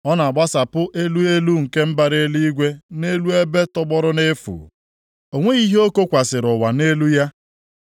Ọ na-agbasapụ elu elu nke mbara eluigwe nʼelu ebe tọgbọrọ nʼefu. O nweghị ihe o kokwasịrị ụwa nʼelu ya.